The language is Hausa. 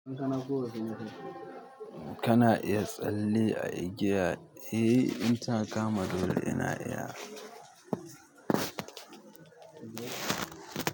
Kana iya tsalle a igiya? Eh in ta kama dole ina iya.